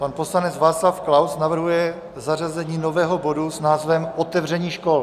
Pan poslanec Václav Klaus navrhuje zařazení nového bodu s názvem Otevření škol.